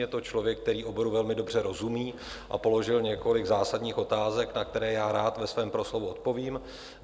Je to člověk, který oboru velmi dobře rozumí, a položil několik zásadních otázek, na které já rád ve svém proslovu odpovím.